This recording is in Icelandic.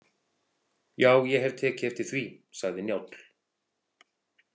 Já, ég hef tekið eftir því, sagði Njáll.